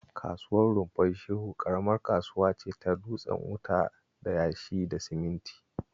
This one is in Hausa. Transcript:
Kasuwar Rumfar Shehu ƙaramar kasuwa ce ta dutsen wuta da yashi da siminti